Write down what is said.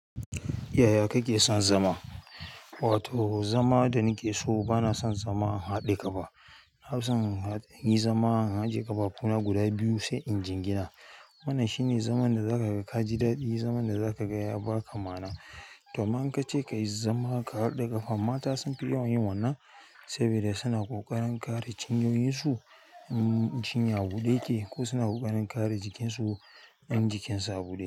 Yaya kake son zama? Wato zama da nake so bana son zaman haɗe ƙafa. Na fi son in yi zama an ajjiye ƙafafuna guda biyu sai in jingina. Wannan shine zaman da zaka ga ka ji daɗi, zaman da zaka ga ya ba ka ma'ana. To amma in kace ka yi zama ka haɗa ƙafa, mata sun fi yawa yin wannan sabida suna ƙoƙarin kare cinyoyin su, cinya huɗu yake. Ko suna ƙoƙarin kare jikin su, in jikin su a buɗe.